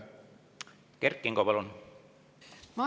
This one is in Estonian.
Kert Kingo, palun!